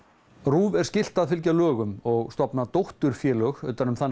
RÚV er skylt að fylgja lögum og stofna dótturfélög utan um það